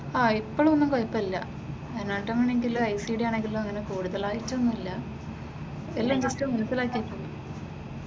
ആഹ് ഇപ്പോഴൊന്നും കുഴപ്പമില്ല. അനാട്ടമി ആണെങ്കിലും ഐസിഡി ആണെങ്കിലും അങ്ങനെ കൂടുതലായിട്ടൊന്നും ഇല്ല, എല്ലാം കുറച്ച് മനസ്സിലാക്കിയിട്ടുണ്ട്.